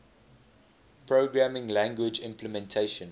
programming language implementation